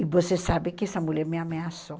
E você sabe que essa mulher me ameaçou.